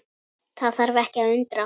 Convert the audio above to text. Það þarf ekki að undra.